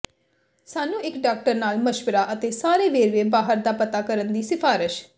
ਸਾਨੂੰ ਇੱਕ ਡਾਕਟਰ ਨਾਲ ਮਸ਼ਵਰਾ ਅਤੇ ਸਾਰੇ ਵੇਰਵੇ ਬਾਹਰ ਦਾ ਪਤਾ ਕਰਨ ਦੀ ਸਿਫਾਰਸ਼